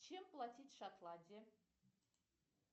чем платить в шотландии